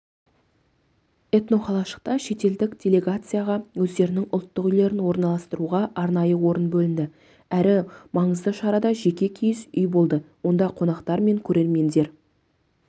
этноқалашықта шетелдік делегецияға өздерінің ұлттық үйлерін орналастыруға арнайы орын бөлінді әрі маңызды шарада жеке киіз үй болды онда қонақтар мен көрермендер